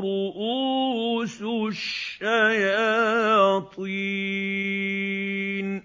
رُءُوسُ الشَّيَاطِينِ